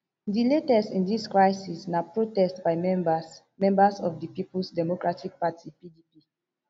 di latest in dis crisis na protest by members members of di peoples democratic party pdp